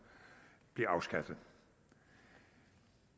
bliver afskaffet